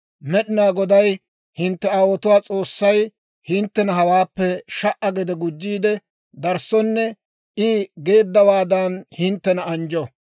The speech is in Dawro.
Med'inaa Goday hintte aawotuwaa S'oossay, hinttena hawaappe sha"a gede gujjiide darissonne I geeddawaadan hinttena anjjo.